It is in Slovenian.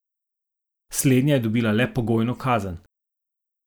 Slednja je dobila le pogojno kazen.